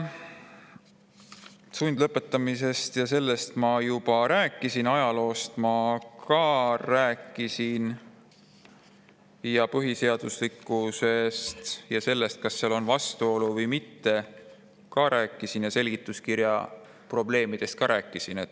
Sundlõpetamisest ma juba rääkisin, ajaloost ma rääkisin, samuti põhiseaduslikkusest ja sellest, kas seal on vastuolu või mitte, ka rääkisin ning seletuskirja probleemidest ka rääkisin.